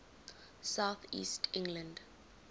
south east england